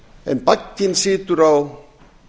en bagginn situr á